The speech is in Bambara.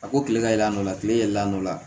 A ko kile ka yɛlɛ a nɔfɛ kile yɛlɛla